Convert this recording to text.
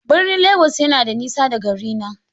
Birnin Legas yana da nisa da garina.